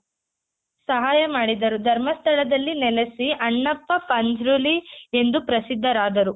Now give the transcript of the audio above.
ಸಹಾಯ ಮಾಡಿದರು ಧರ್ಮಸ್ಥಳದಲ್ಲಿ ನೆಲೆಸಿ ಅಣ್ಣಪ್ಪ ಪಂಜ್ರುಲಿ ಎಂದು ಪ್ರಸಿದ್ದರಾದರು.